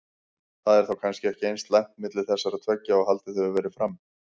Það er þá kannski ekki eins slæmt milli þessara tveggja og haldið hefur verið fram?